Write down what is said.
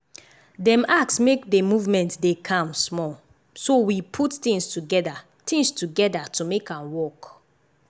dem ask make dey movement dey calm small so we put things together things together to make am work.